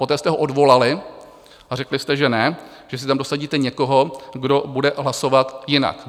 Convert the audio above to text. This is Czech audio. Poté jste ho odvolali a řekli jste, že ne, že si tam dosadíte někoho, kdo bude hlasovat jinak.